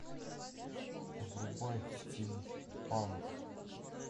врубай стимпанк